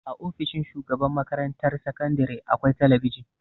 A ofishin shugaban makarantar sakandare akwai talabijin.